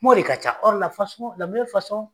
Ŋ'ɔ de ka ca